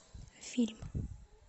фильм